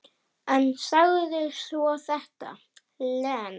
En sagði svo þetta, Lena.